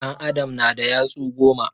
An adam na da yatsu goma